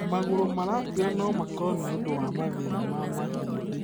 Magũrũ maratuura no makorwo nĩ ũndũ wa mathĩna ma mahĩndĩ.